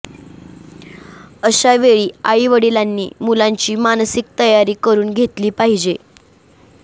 अशा वेळी आईवडिलांनी मुलांची मानसिक तयारी करून घेतली पाहिजे